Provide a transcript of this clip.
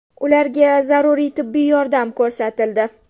Ularga zaruriy tibbiy yordam ko‘rsatildi.